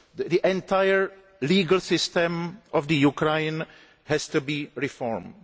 The entire legal system of Ukraine has to be reformed.